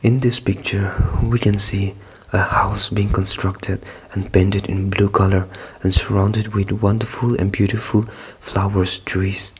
in this picture we can see a house being constructed and painted in blue colour and surrounded with wonderful and beautiful flowers trees.